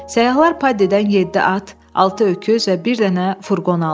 Səyyahlar Paddidən yeddi at, altı öküz və bir dənə furqon aldılar.